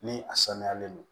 Ni a sanuyalen non